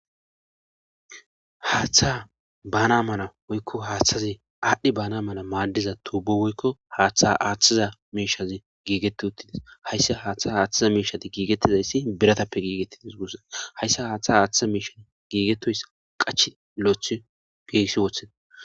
Haaththa baana mana woykko haaththazi aadhdhi baana mala maadiza tuubo woykko haaththa aaththiza meishazi giigeti uttidis hayssi haaththa haaththiza meeshadi giigettizayssi biratappe giigettidis gussa hayssa haaththa haaththiza meishan giigetoys qach lo'oth geessi wotheda.